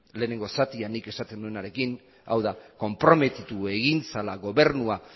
lehenengo zatian nik esaten nuenarekin hau da konprometitu egin zela gobernua